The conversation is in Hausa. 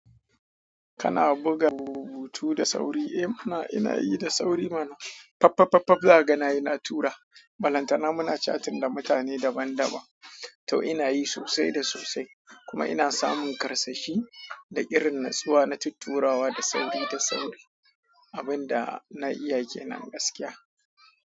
Kana buga rubutu da sauri? Eh mana, ina yi da sauri mana. Papapapa, zakaga nayi na tura. Balantana muna chatting da mutane daban-daban. To ina yi sosai da sosai kuma ina samun karsashi da irin natsuwa na tutturawa da sauri da sauri, abin da na iya ke nan gaskiya.